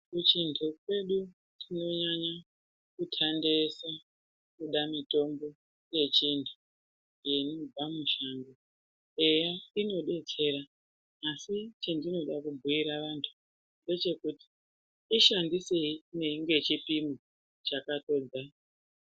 Kuchintu kwedu tinonyanya kuthandeyesa kuda mitombo yechintu yeibva muchintu. Eya inodetsera asi chendinoda kubhuyirwa vantu ngechekuti ishandiseyi ngechipimo chakanxonda